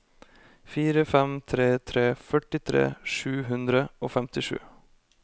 fire fem tre tre førtifire sju hundre og femtisju